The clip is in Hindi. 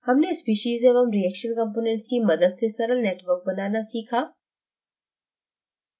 हमने स्पीशीज़ एवं reaction components की मदद से सरल network बनाना सीखा